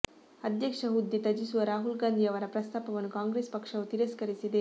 ಅಧ್ಯಕ್ಷ ಹುದ್ದೆ ತ್ಯಜಿಸುವ ರಾಹುಲ್ ಗಾಂಧಿ ಅವರ ಪ್ರಸ್ತಾಪವನ್ನು ಕಾಂಗ್ರೆಸ್ ಪಕ್ಷವು ತಿರಸ್ಕರಿಸಿದೆ